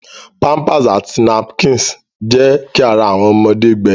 Pampers àti napkins jẹ ki ará awọn ọmọde gbẹ.